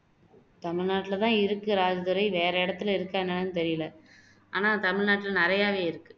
தமிழ்நாட்டுலதான் இருக்கு ராஜதுரை வேற இடத்துல இருக்கா என்னன்னு தெரியலை ஆனா தமிழ்நாட்டுல நிறைய இருக்கு